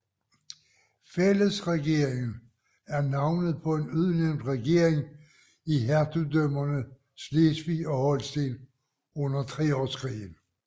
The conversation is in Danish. Fællesregeringen er navnet på en udnævnt regering i hertugdømmerne Slesvig og Holsten under Treårskrigen